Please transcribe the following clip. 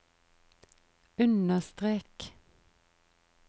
understrek